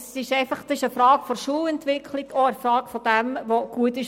Es geht um die Frage der Schulentwicklung und was für die Schulen gut ist.